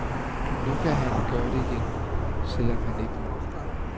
Nu kan han gøre det igen, selv om han ikke må.